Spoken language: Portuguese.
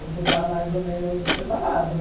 Você está mais ou menos separado.